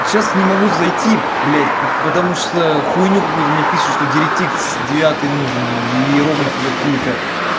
сейчас не могу зайти блядь потому что хуйню какую-то мне пишет что девять икс девятый нужен иероглифы какие-то